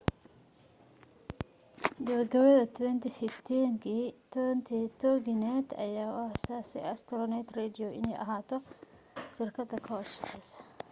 gabagabada 2015 toginet ayaa u aasaasay astronet radio inay ahaato shirkad ka hoos shaqeyso